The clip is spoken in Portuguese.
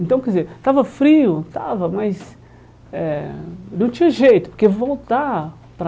Então, quer dizer, estava frio, estava, mas eh não tinha jeito, porque voltar para...